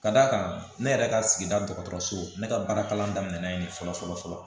Ka d'a kan ne yɛrɛ ka sigida dɔgɔtɔrɔso ne ka baarakalan daminɛna yen fɔlɔ fɔlɔ fɔlɔ